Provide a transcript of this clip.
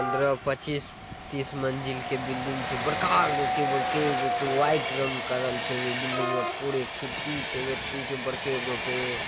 पंदर पच्चीस तीस मंजिल के बिल्डिग छै|बड़का गो के बड़के गो के बड़का व्हाइट रंग करल छै| ओय बिल्डिग मे पूरा खिड़की छै।